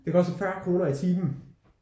Det koster 40 kroner i timen